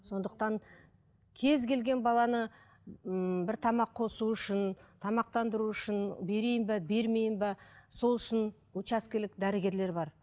сондықтан кез келген баланы ммм бір тамақ қосу үшін тамақтандыру үшін берейін бе бермейін бе сол үшін учаскелік дәрігерлер бар